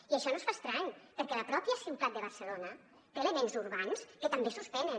i això no es fa estrany perquè la pròpia ciutat de barcelona té elements urbans que també suspenen